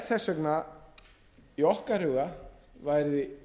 þess vegna í okkar huga væri